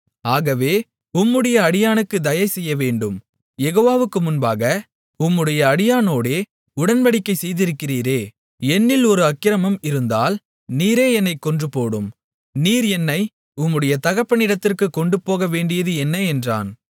ஆகவே உம்முடைய அடியானுக்குத் தயை செய்யவேண்டும் யெகோவாவுக்கு முன்பாக உம்முடைய அடியானோடே உடன்படிக்கை செய்திருக்கிறீரே என்னில் ஒரு அக்கிரமம் இருந்தால் நீரே என்னைக் கொன்றுபோடும் நீர் என்னை உம்முடைய தகப்பனிடத்திற்குக் கொண்டு போகவேண்டியது என்ன என்றான்